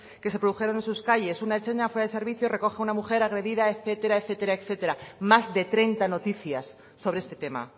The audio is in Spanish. que se produjeron en sus calles una ertzaina fuera de servicio recoge a una mujer agredida etcétera etcétera más de treinta noticias sobre este tema